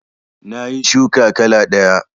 Nayi shuka kala ɗaya